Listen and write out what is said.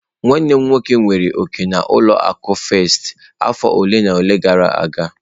Nwanne m nwoke nwere òkè na ụlọ akụ firsti afọ ole na ole gara aga.